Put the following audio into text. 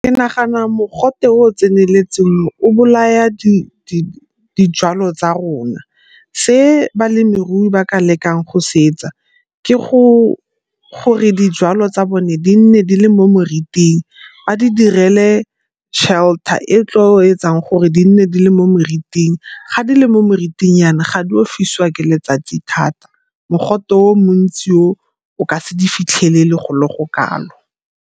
Ke nagana mogote o o tseneletseng o o bolaya dijwalo tsa rona. Se balemirui ba ka lekaneng go se etsa ke gore dijwalo tsa bone di nne di le mo moriting, ba di dirile shelter e tlo etsang gore di nne di le mo meriting. Ga di le mo meriting yana ga di o fisiwa ke letsatsi thata, mogote o montsi o ka se di fitlhele le go le go kalo.